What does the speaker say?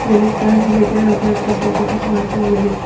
ये लोग ताजिए पे हाथ रख के फोटो खिंचवाते हुए दिख--